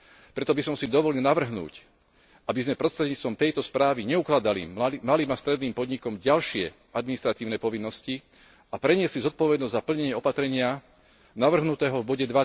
Preto by som si dovolil navrhnúť, aby sme prostredníctvom tejto správy neukladali malým a stredným podnikom ďalšie administratívne povinnosti, a preniesli zodpovednosť za plnenie opatrenia navrhnutého v bode